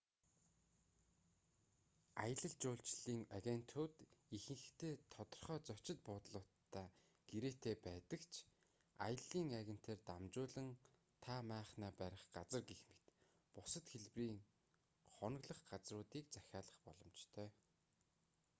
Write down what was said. аялал жуулчлалын агентууд ихэнхдээ тодорхой зочид буудлуудтай гэрээтэй байдаг ч аяллын агентаар дамжуулан та майхнаа барих газар гэх мэт бусад хэлбэрийн хоноглох газруудыг захиалах боломжтой